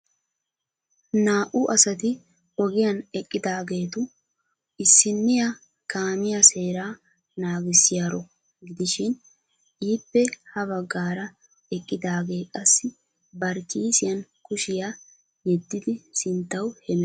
Naa''u asati ogiyan eqqidaageetu issiniyaa kaamiya seeraa naagissiyaaro gidishin ippe ha baggaara eqqidaagee qassi bari kissiyan kushiyaa yediddi sinttaw hemettees.